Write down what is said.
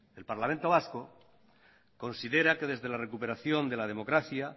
el parlamento vasco considera que desde la recuperación de la democracia